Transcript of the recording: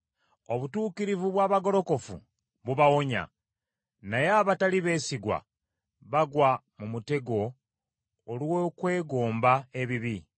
Obutuukirivu bw’abagolokofu bubawonya, naye abatali beesigwa bagwa mu mutego olw’okwegomba ebibi.